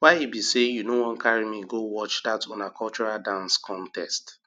why be say you no wan carry me go watch that una cultural dance contest